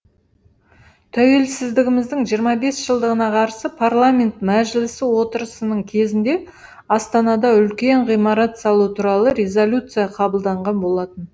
тәуелсіздігіміздің жиырма бес жылдығына қарсы парламент мәжілісі отырысының кезінде астанада үлкен ғимарат салу туралы резолюция қабылданған болатын